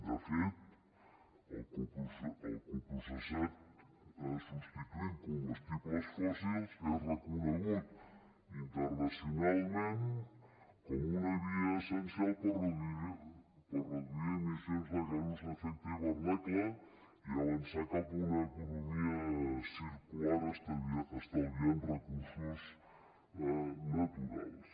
de fet el coprocessat substituint combustibles fòssils és reconegut internacionalment com una via essencial per reduir emissions de gasos d’efecte d’hivernacle i avançar cap a una economia circular estalviant recursos naturals